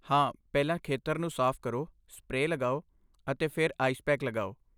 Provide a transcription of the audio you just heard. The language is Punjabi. ਹਾਂ, ਪਹਿਲਾਂ ਖੇਤਰ ਨੂੰ ਸਾਫ਼ ਕਰੋ, ਸਪਰੇਅ ਲਗਾਓ, ਅਤੇ ਫਿਰ ਆਈਸ ਪੈਕ ਲਗਾਓ।